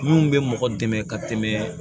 Mun bɛ mɔgɔ dɛmɛ ka tɛmɛ